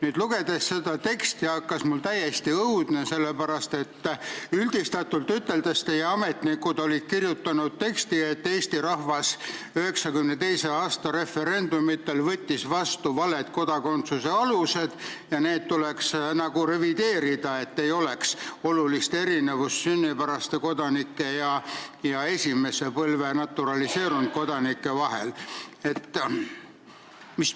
Seda teksti lugedes hakkas mul täiesti õudne, sest üldistatult üteldes olid teie ametnikud kirjutanud, et Eesti rahvas võttis 1992. aasta referendumitel vastu valed kodakondsuse alused ja neid tuleks nagu revideerida, et ei oleks olulist erinevust sünnipäraste kodanike ja esimese põlve naturaliseerunud kodanike vahel.